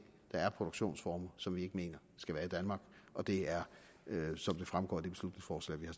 produktionsformer som vi ikke mener skal være i danmark og det er som det fremgår af det beslutningsforslag vi har